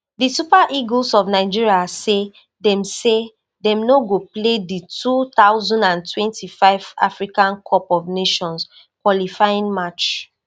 di super eagles of nigeria say dem say dem no go play di two thousand and twenty-five africa cup of nations qualifying match